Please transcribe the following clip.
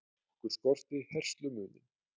Okkur skortir herslumuninn